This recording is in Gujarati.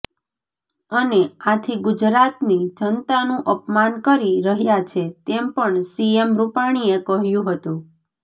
અને આથી ગુજરાતની જનતાનું અપમાન કરી રહ્યા છે તેમ પણ સીએમ રૂપાણીએ કહ્યુ હતુ